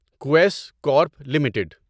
Quess Corp limited